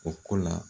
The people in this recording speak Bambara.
O ko la